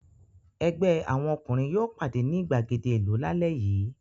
Ẹgbẹ́ àwọn ọkùnrin yóò pàdé ní ìgbàgede ìlú lálẹ́ yìí.